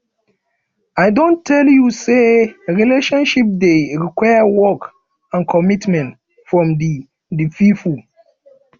i don tell you sey relationship dey require work and commitment from di di pipo